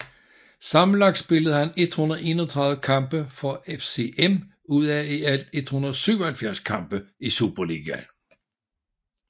Sammenlagt spillede han 131 kampe for FCM ud af i alt 177 kampe i Superligaen